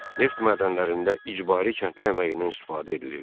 Neft mədənlərində icbari kəndli əməyindən istifadə edilirdi.